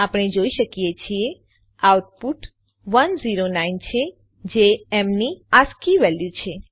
આપણે જોઈ શકીએ છીએ આઉટપુટ 109 છે જે એમ ની આસ્કી વેલ્યુ છે